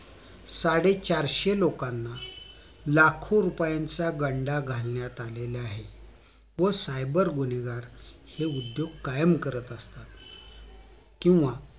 साडे चारशे लोकांना लाखो रुपयांचा गंडा घालण्यात आलेला आहे व cyber गुन्हेगार हे उद्योग कायम करत असतात किंवा